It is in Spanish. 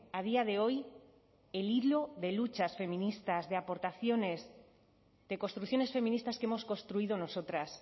a día de hoy el hilo de luchas feministas de aportaciones de construcciones feministas que hemos construido nosotras